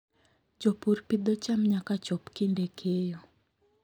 Jopur pidho cham nyaka chop kinde keyo.